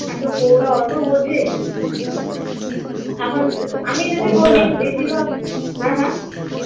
এত বউরা অত বোঝে এখন আমি যদি বলি বেশিরভাগ হ্যাঁ হ্যাঁ